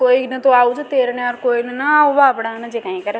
कोई न तो आओ जो तेरना कोई न ना आव बापडा न जे काय कर।